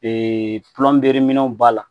minɛnw b'a la